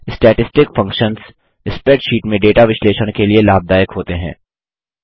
statistic functions spreadsheet में data विश्लेषण के लिए लाभदायक होते हैं